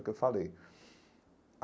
O que eu falei.